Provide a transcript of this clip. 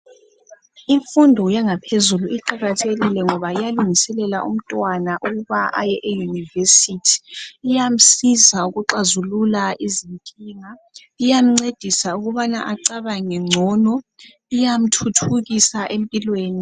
Imfundo yangaphezulu iqakathekile ngoba iyalungiselela umntwana ukubana aye e university , iyasiza ukuxazulula izinkinga , iyancedisa ukubana acabange ngcono , iyamthuthukisa empilweni